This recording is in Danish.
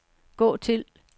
gå til